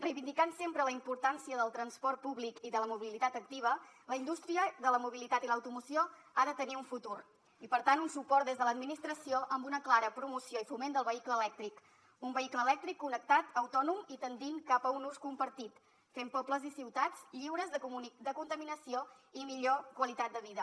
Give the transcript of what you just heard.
reivindicant sempre la importància del transport públic i de la mobilitat activa la indústria de la mobilitat i l’automoció ha de tenir un futur i per tant un suport des de l’administració amb una clara promoció i foment del vehicle elèctric un vehicle elèctric connectat autònom i tendint cap a un ús compartit fent pobles i ciutats lliures de contaminació i millor qualitat de vida